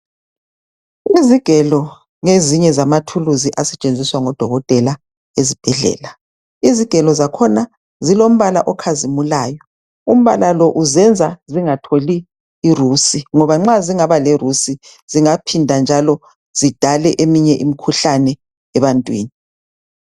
Izigelo ngezinye zamathuluzi asetshenziswa ngodokotela ezibhedlela. Izigelo zakhona zilombala okhazimulyo umbala lo uzenza zingatholi irusi ngoba zilombala nxa zingaba lerusi zingaphinda njalo zidale eminye imikhuhlane ebantwini